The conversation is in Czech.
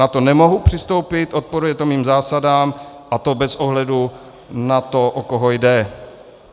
Na to nemohu přistoupit, odporuje to mým zásadám a to bez ohledu na to, o koho jde.